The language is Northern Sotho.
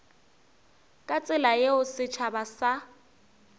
ka tsela yeo setšhaba sa